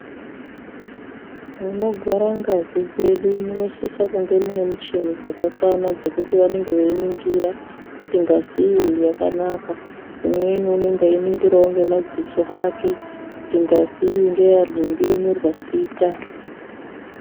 Munogara ngazk dzedu munosisa kunge mune muchini dzakakwana dzekuti vanenge veiningira kuti ngazi iyi yakanaka. Umweni unenge eyiningirawo ngemadziso ake kuti ngazi iyi ngeya ngingi yonyorwa zita.